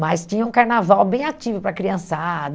Mas tinha um carnaval bem ativo para a criançada.